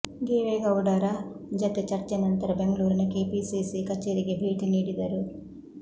ದೇವೇಗೌಡ ರ ಜತೆ ಚರ್ಚೆ ನಂತರ ಬೆಂಗಳೂರಿನ ಕೆಪಿಸಿಸಿ ಕಛೇರಿಗೆ ಭೇಟಿ ನೀಡಿದರು